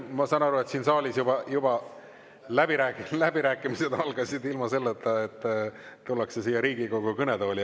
Ma saan aru, et siin saalis juba läbirääkimised algasid, ilma selleta, et tullakse siia Riigikogu kõnetooli.